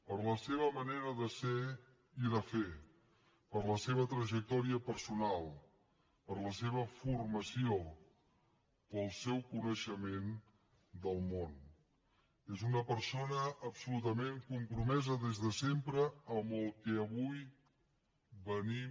per la seva manera de ser i de fer per la seva trajectòria personal per la seva formació pel seu coneixement del món és una persona absolutament compromesa des de sempre amb el que avui venim